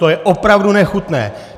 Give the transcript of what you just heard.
To je opravdu nechutné!